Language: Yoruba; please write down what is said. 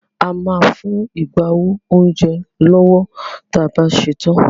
A máa fún agbáwo oúnjẹ lówó tí a bá ṣetán.